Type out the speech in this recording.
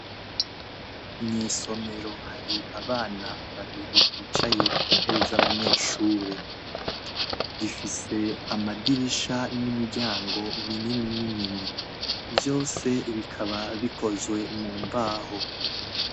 Mw’isomero hari abana babiri bicaye ku ntebe z'abanyeshuri, rifise amadirisha n'imiryango minini minini ,vyose bikaba bikozwe mu mbaho.